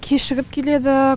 кешігіп келеді